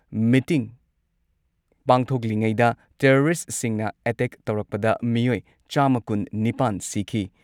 meeting ꯄꯥꯡꯊꯣꯛꯂꯤꯉꯩꯗ ꯇꯦꯔꯣꯔꯤꯁꯠꯁꯤꯡꯅ attack ꯇꯧꯔꯛꯄꯗ ꯃꯤꯑꯣꯏ ꯆꯥꯝꯃ ꯀꯨꯟꯅꯤꯄꯥꯟ ꯁꯤꯈꯤ